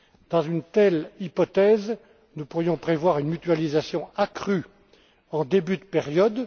Dans une telle hypothèse, nous pourrions prévoir une mutualisation accrue en début de période.